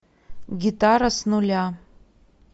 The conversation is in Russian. гитара с нуля